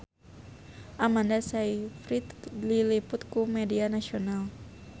Amanda Sayfried diliput ku media nasional